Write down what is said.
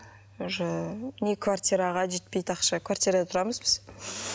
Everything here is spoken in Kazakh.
уже не квартираға жетпейді ақша квартирада тұрамыз біз